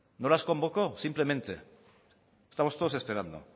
no las convoco simplemente estamos todos esperando